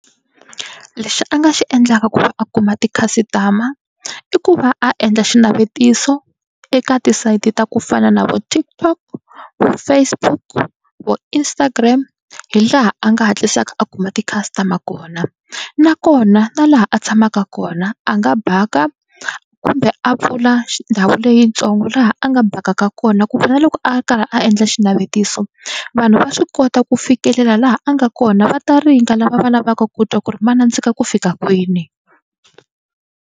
Lexi a nga xi endlaka ku va a kuma ti-customer i ku va a endla xinavetiso eka ti-site ta ku fana na vo TikTok, vo Facebook, vo Instagram. Hi laha a nga hatlisaka a kuma ti-customer kona nakona na laha a tshamaka kona a nga baka kumbe a pfula xi ndhawu leyitsongo laha a nga bakaka kona ku na loko a karhi a endla xinavetiso vanhu va swi kota ku fikelela laha a nga kona va ta ringa lava va lavaka ku twa ku ri ma nandzika ku fika kwini.